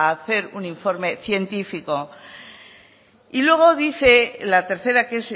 hacer un informe científico y luego dice la tercera que